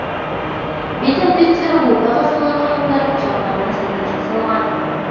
бет әлпеттері орта ғасырлар ханымдарының шарттарына сәйкес жасалған